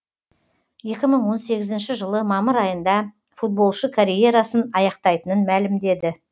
екі мын он сегізінші жылы мамыр айында футболшы карьерасын аяқтайтынын мәлімдеді